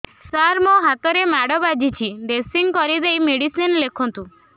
ସାର ମୋ ହାତରେ ମାଡ଼ ବାଜିଛି ଡ୍ରେସିଂ କରିଦେଇ ମେଡିସିନ ଲେଖନ୍ତୁ